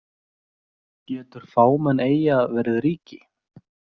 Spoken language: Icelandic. Getur fámenn eyja verið ríki?